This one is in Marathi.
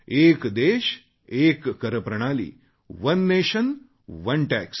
एक देशएक कर ओने नॅशनोने टॅक्स